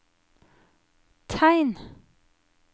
tegn